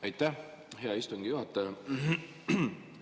Aitäh, hea istungi juhataja!